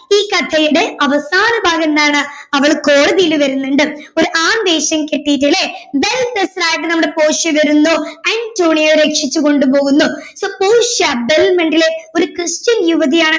ഈ കഥയുടെ അവസാന ഭാഗം എന്താണ് അവള് കോടതിയിൽ വരുന്നുണ്ട് ഒരു ആൺ വേഷം കെട്ടിട്ട് അല്ലെ well dressed ആയിട്ട് നമ്മുടെ പോർഷ്യ വരുന്നു അന്റോണിയോയെ രക്ഷിച്ച കൊണ്ട് പോകുന്നു so പോർഷ്യ ബെൽമണ്ടിലെ ഒരു ക്രിസ്ത്യൻ യുവതിയാണ്